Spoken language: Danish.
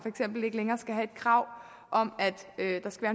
krav om at der skal